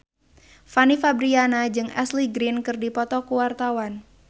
Fanny Fabriana jeung Ashley Greene keur dipoto ku wartawan